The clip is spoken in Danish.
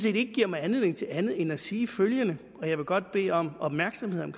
ikke giver mig anledning til andet end at sige følgende og jeg vil godt bede om opmærksomhed om